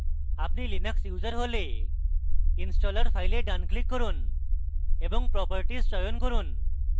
আপনি linux user হলে installer file ডান click করুন এবং properties চয়ন করুন